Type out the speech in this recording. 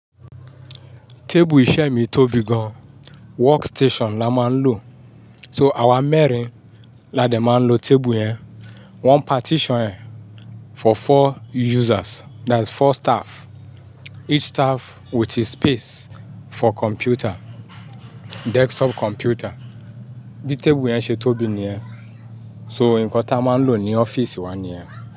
Tébù iṣẹ́ mi tóbi gan, workstation la máa ń lò. So àwa mẹ́rin la dé máa ń lo tébù yẹn. Wọ́n partition ẹ̀ for four users, that is four staff. Each staff with his space for computer, desktop computer. Bí tébù yẹn ṣe tóbi ni ẹ́, so nǹkan tí a máa ń lò ní ọ́fíìsì wa ni ẹ́